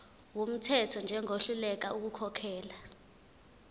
wumthetho njengohluleka ukukhokhela